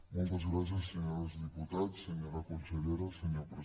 moltes gràcies senyores i senyors diputats senyora con sellera senyor president